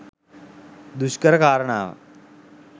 දුෂ්කර කාරණාවක්.